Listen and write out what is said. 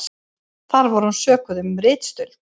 Þar var hún sökuð um ritstuld